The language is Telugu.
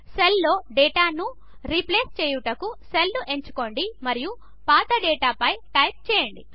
సెల్లో డేటాను రీప్లేస్ చేయుటకు సెల్ను ఎంచుకోండి మరియు పాత డేటాపై టైప్ చేయండి